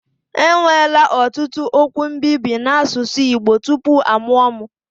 Enwela ọtụtụ okwu mbibi n'asụsụ Igbo tupu a mụo m.